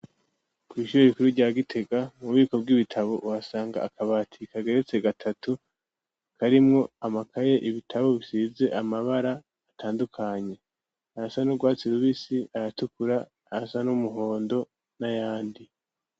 Kw'ishure rikuru rya Gitega mu bubiko bw'ibitabo wasanga akabati kageretse gatatu karimwo amakaye ibitabo bisize amabara atandukanye, ayasa n'urwatsi rubisi, ayatukura, ayasa n'umuhondo n'ayandi.